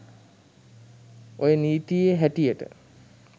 ඔය නීතියෙ හැටියට